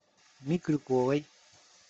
микрюковой